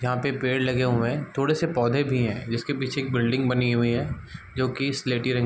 यहाँ पे पेड़ लगे हुए है थोड़े से पौधे भी है जिसके पीछे एक बिल्डिंग बनी हुई है जो कि स्लेटी रंग --